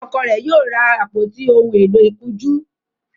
Ọkọ rẹ yíò ra àpótí òún èló ìkunjú